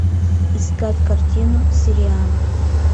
искать картину сириана